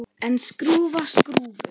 En skrúfa skrúfu?